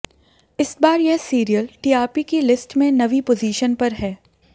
इस बार यह सीरियल टीआरपी की लिस्ट में नवीं पोजीशन पर है